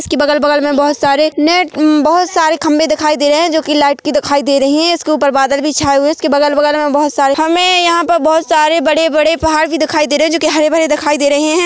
इसकी बगल बगल में बहुत सारे नेट -- बहुत सारे खंभे दिखाई दे रहे हैं जो की लाइट की दिखाई दे रही है इसके ऊपर बादल भी छाए हुए है इसके बगल बगल में बहुत सारे हमें यहां पर बहुत सारे बड़े-बड़े पहाड़ भी दिखाई दे रहे हैं जो की हरे भरे दिखाई दे रहे हैं।